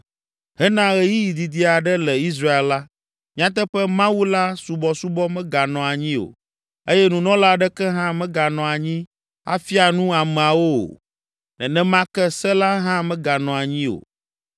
Hena ɣeyiɣi didi aɖe le Israel la, nyateƒe Mawu la subɔsubɔ meganɔ anyi o eye nunɔla aɖeke hã meganɔ anyi afia nu ameawo o. Nenema ke se la hã meganɔ anyi o